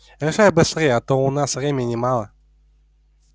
решай быстрее а то у нас времени мало